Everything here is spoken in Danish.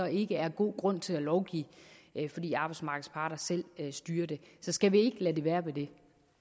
ikke er god grund til at lovgive fordi arbejdsmarkedets parter selv styrer det så skal vi ikke lade det være ved det